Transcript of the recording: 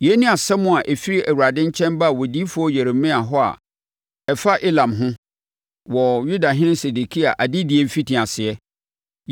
Yei ne asɛm a ɛfiri Awurade nkyɛn baa odiyifoɔ Yeremia hɔ a ɛfa Elam ho, wɔ Yudahene Sedekia adedie mfitiaseɛ: